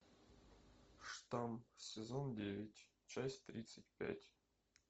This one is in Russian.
штамм сезон девять часть тридцать пять